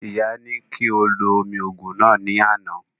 Ìyá ní kí ó lo omi òògùn náà ní àná